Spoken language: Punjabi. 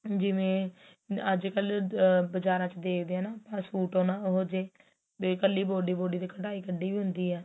ਜਿਵੇਂ ਅੱਜ ਕੱਲ ਆਹ ਬਜਾਰਾ ਵਿੱਚ ਦੇਖਦੇ ਹਾਂ ਨਾ ਸੂਟ ਆਪਾ ਉਹੋ ਜਿਹੇ ਵੀ ਇੱਕਲੀ ਇੱਕਲੀ body ਕਢਾਈ ਕੱਢੀ ਵੀ ਹੁੰਦੀ ਏ